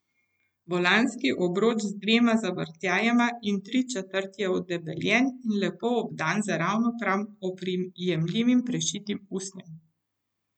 Volanski obroč s dvema zavrtljajema in tričetrt je odebeljen in lepo obdan z ravno prav oprijemljivim prešitim usnjem.